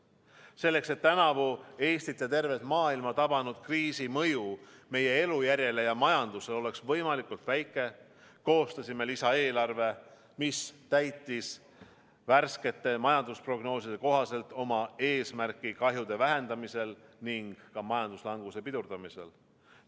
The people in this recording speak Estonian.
Selleks et tänavu Eestit ja tervet maailma tabanud kriisi mõju meie elujärjele ja majandusele oleks võimalikult väike, koostasime lisaeelarve, mis täitis värskete majandusprognooside kohaselt oma eesmärki kahjude vähendamisel ning ka majanduslanguse pidurdamisel.